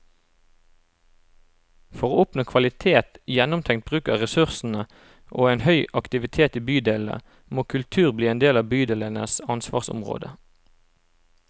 For å oppnå kvalitet, gjennomtenkt bruk av ressursene og en høy aktivitet i bydelene, må kultur bli en del av bydelenes ansvarsområde.